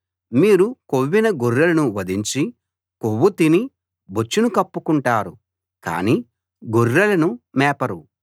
మీరు కొవ్విన గొర్రెలను వధించి కొవ్వు తిని బొచ్చును కప్పుకుంటారు కానీ గొర్రెలను మేపరు